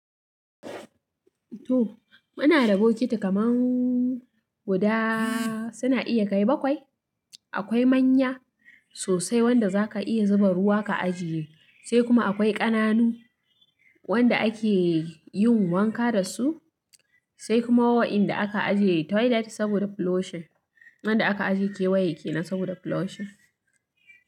To muna da bokiti kaman guda suna iya kai bakwai. Akwai manya sosai wanda zaka iya zuba ruwa ka ajiye, sai kuma akwai ƙananu wanda ake yin wanka dasu, sai kuma wa'inda aka ajiye toilet saboda floation, wanda aka ajiye kewaye kenan saboda floation.